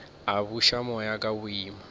a buša moya ka boima